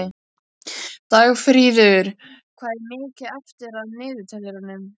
Dagfríður, hvað er mikið eftir af niðurteljaranum?